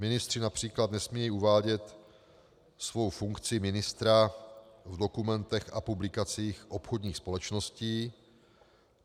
Ministři například nesmějí uvádět svou funkci ministra v dokumentech a publikacích obchodních společností.